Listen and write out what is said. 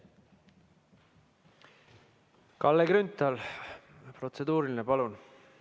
Kalle Grünthal, protseduuriline küsimus, palun!